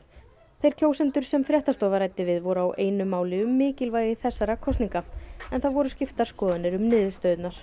þeir kjósendur sem fréttastofa ræddi við voru á einu máli um mikilvægi þessara kosninga en það voru skiptar skoðanir um niðurstöðurnar